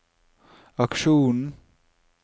aksjonen